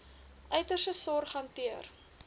uiterste sorg hanteer